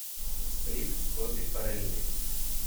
сплит боби фарелли